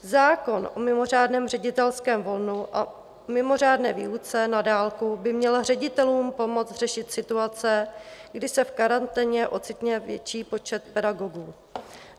Zákon o mimořádném ředitelském volnu a mimořádné výuce na dálku by měla ředitelům pomoct řešit situace, kdy se v karanténě ocitne větší počet pedagogů.